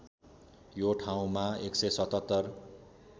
यो ठाउँमा १७७